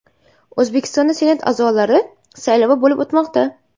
O‘zbekistonda Senat a’zolari saylovi bo‘lib o‘tmoqda.